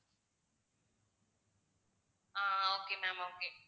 ah okay ma'am okay